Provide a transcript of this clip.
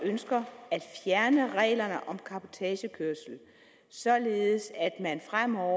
ønsker at fjerne reglerne om cabotagekørsel således at man fremover